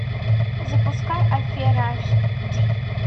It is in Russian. запускай афера аш ди